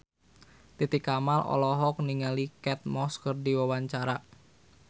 Titi Kamal olohok ningali Kate Moss keur diwawancara